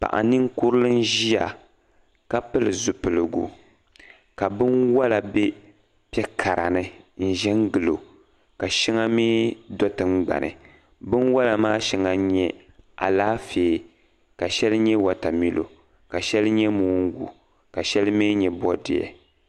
Paɣa ninkurili n ʒia ka pili zipiligu ka binwala be piɛ'kara ni n ʒin gili o ka shɛŋa mii do' tiŋgbani Binwala maa shɛŋa n nyɛ alaafee ka shɛli nyɛ watamilo ka shɛli nyɛ moongu ka shɛli mii bɔdiɛ